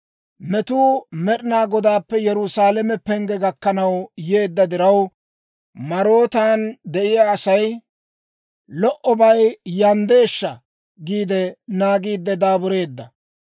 Metuu Med'ina Godaappe Yerusaalame pengge gakkanaw yeedda diraw, Marootan de'iyaa asay, «Lo"obay yanddeeshsha!» giide naagiidde daabureedda.